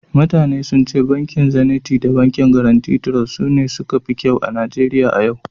mutane sun ce bankin Zeniti da Gaaraunti Trost Bankin sune suka fi kyau a Najeriya a yau